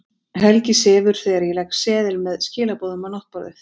Helgi sefur þegar ég legg seðil með skilaboðum á náttborðið.